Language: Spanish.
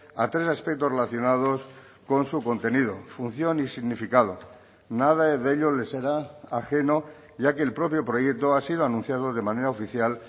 a tres aspectos relacionados con su contenido función y significado nada de ello les será ajeno ya que el propio proyecto ha sido anunciado de manera oficial